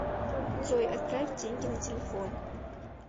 джой отправь деньги на телефон